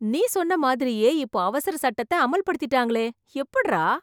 நீ சொன்ன மாதிரியே, இப்போ அவசர சட்டத்த அமல்படுத்திட்டாங்களே, எப்புட்றா?